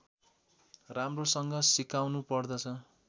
राम्रोसँग सुकाउनु पर्दछ